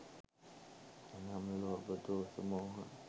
එනම් ලෝභ, දෝස, මෝහ